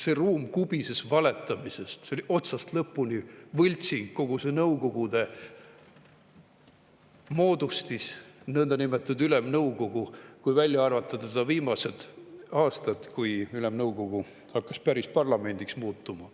See ruum kubises valetamisest, see oli otsast lõpuni võltsing, kogu see Nõukogude moodustis, nõndanimetatud Ülemnõukogu, kui välja arvata viimased aastad, kui Ülemnõukogu hakkas päris parlamendiks muutuma.